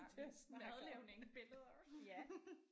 Til at snakke om. Ja